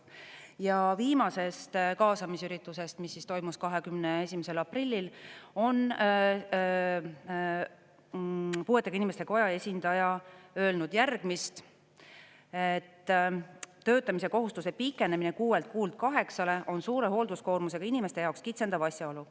Ja viimasest kaasamisüritusest, mis toimus 21. aprillil, on puuetega inimeste koja esindaja öelnud järgmist: töötamise kohustuse pikenemine kuuelt kuult kaheksale on suure hoolduskoormusega inimeste jaoks kitsendav asjaolu.